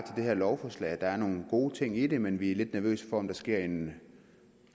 det her lovforslag der er nogle gode ting i det men vi er lidt nervøse for om der sker en